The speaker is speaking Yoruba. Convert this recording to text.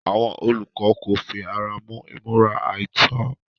Àwọn olùkọ́ kò fi ara mọ́ ìmúra àìtọ́.